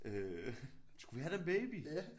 Øh skulle vi have den baby